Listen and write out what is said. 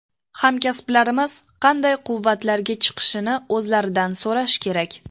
Hamkasblarimiz qanday quvvatlarga chiqishini o‘zlaridan so‘rash kerak.